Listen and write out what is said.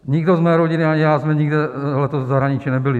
Nikdo z mé rodiny ani já jsme nikde letos v zahraničí nebyli.